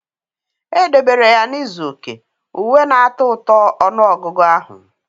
Edebere ya na izu oke, uwe na-atọ ụtọ ọnụ ọgụgụ ahụ.